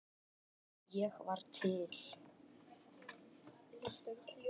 að ég var til.